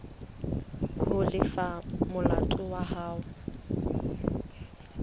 ho lefa molato wa hao